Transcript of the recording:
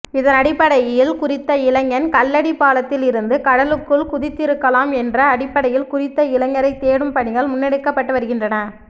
இதனடிப்படையில் குறித்த இளைஞன் கல்லடி பாலத்தில் இருந்து கடலுக்குள் குதித்திருக்கலாம் என்ற அடிப்படையில் குறித்த இளைஞரை தேடும் பணிகள் முன்னெடுக்கப்பட்டுவருகின்றன